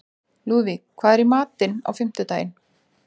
Lúðvíg, hvað er í matinn á fimmtudaginn?